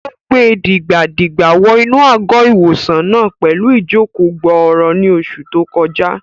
Ó gbe dìgbà-dìgbà wọ inú àgọ́-ìwòsàn náà pẹ̀lú ìjòkó-gbọọrọ ní oṣù tó kọjá